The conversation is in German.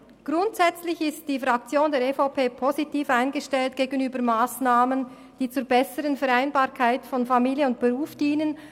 Grundsätzlich ist die EVP-Fraktion positiv eingestellt gegenüber Massnahmen, die der besseren Vereinbarkeit von Familie und Beruf dienen.